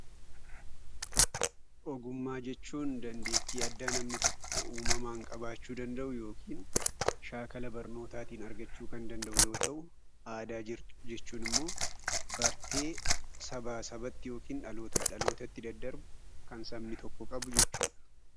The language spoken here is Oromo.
Ogummaa jechuun dandeettii addaa namni tokko uumamaan qabaachuu danda'u yookiin shaakala barnootaatiin argachuu kan danda'u yoo ta'u¡: Aadaa jechuun immoo bartee sabaa sabatti yookiin dhalootaa dhalootatti daddarbu kan sabni tokko qabu jechuu dha.